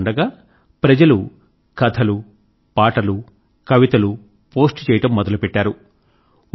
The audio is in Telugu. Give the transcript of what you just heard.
ఇలా ఉండగా ప్రజలు కథలు పాటలు కవితలూ పోస్ట్ చేయడం మొదలు పెట్టారు